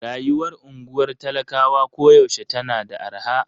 Rayuwar unguwar talakawa koyaushe tana da arha.